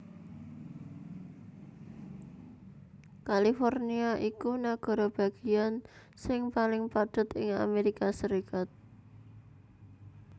California iku nagara bagéyan sing paling padhet ing Amérika Sarékat